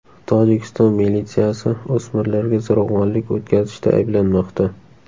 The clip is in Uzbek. Tojikiston militsiyasi o‘smirlarga zo‘ravonlik o‘tkazishda ayblanmoqda.